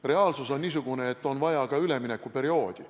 Reaalsus on niisugune, et on vaja ka üleminekuperioodi.